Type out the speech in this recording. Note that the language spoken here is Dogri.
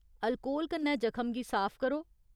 अल्कोहल कन्नै जखम गी साफ करो।